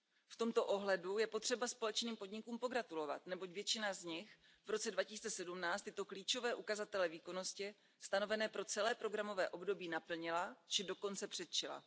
V tomto ohledu je potřeba společným podnikům pogratulovat, neboť většina z nich v roce 2017 tyto klíčové ukazatele výkonnosti stanovené pro celé programové období naplnila či dokonce předčila.